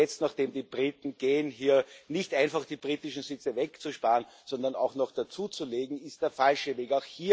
Jetzt, nachdem die Briten gehen, hier nicht einfach die britischen Sitze wegzusparen, sondern sogar noch dazuzulegen, ist der falsche Weg.